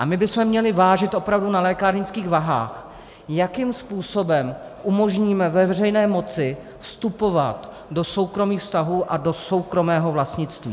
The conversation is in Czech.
A my bychom měli vážit opravdu na lékárnických váhách, jakým způsobem umožníme ve veřejné moci vstupovat do soukromých vztahů a do soukromého vlastnictví.